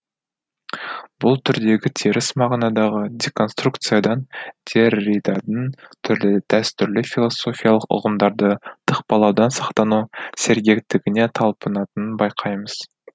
бұл түрдегі теріс мағынадағы деконструкциядан дерриданың түрлі дәстүрлі философиялық ұғымдарды тықпалаудан сақтану сергектігіне талпынатынын байқаймыз